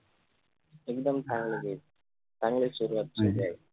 एकदम छान आहे मी चांगली सुरवात झाली आहे